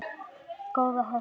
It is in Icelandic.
Góða hesta!